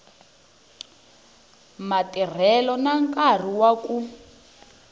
matirhelo na nkarhi wa ku